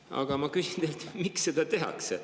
Aga ma küsin teilt, miks seda tehakse.